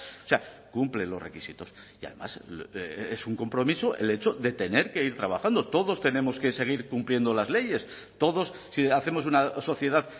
o sea cumple los requisitos y además es un compromiso el hecho de tener que ir trabajando todos tenemos que seguir cumpliendo las leyes todos si hacemos una sociedad